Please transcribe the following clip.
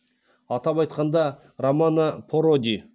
атап айтқанда рамано проди